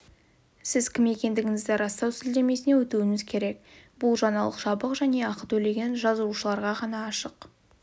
сіз кім екендігіңізді растау сілтемесіне өтуіңіз керек бұл жаңалық жабық және ақы төлеген жазылушыларға ғана ашық